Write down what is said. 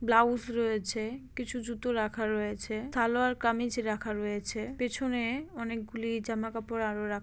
blouse রয়েছে কিছু জুতো রাখা রয়েছে সালোয়ার কামিজ রাখা রয়েছে পিছনে-এ অনেকগুলি জামাকাপড় আরও রা--